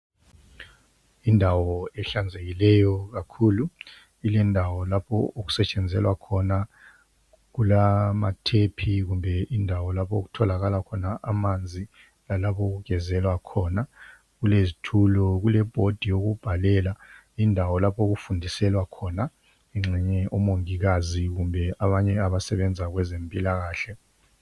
Indawo ehlanzekileyo kakhulu, kulendawo lapho okusetshenzelwa khona. Kulama thephi kumbe indawo lapho okutholakala khona amanzi. Lalapho okugezelwa khona. Kulezithulo lebhodi yokubhalela. Indawo lapho okufundiselwa khona engxenye omongikazi kumbe abanye abasebenza kwezempilakahle.